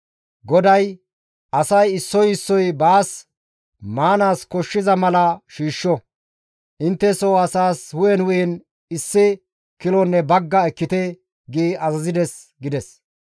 GODAY, ‹Asay issoy issoy baas maanaas koshshiza mala shiishsho; intte soo asaas hu7en hu7en issi issi kilonne bagga ekkite› gi azazides» gides.